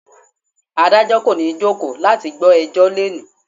Adájọ́ kò ní jókòó láti gbọ́ ẹjọ́ lónìí.